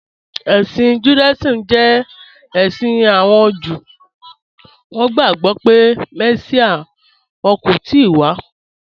Ẹ̀ṣin Judaism jẹ ẹ̀ṣin awọn Júù, wọn gbagbọ pe Messia wọn kò tìí wà